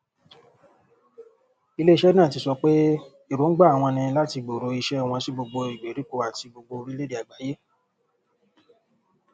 ilé iṣẹ náà ti sọ pé èròǹgbà àwọn ní láti gbòòrò iṣẹ wọn sí gbogbo ìgbèríko àti gbogbo orílẹèdè àgbáyé